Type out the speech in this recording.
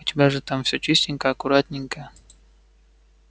у тебя же там всё чистенько аккуратненько